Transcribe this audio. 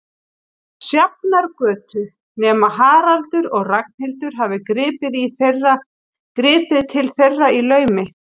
Sjafnargötu, nema Haraldur og Ragnhildur hafi gripið til þeirra í laumi.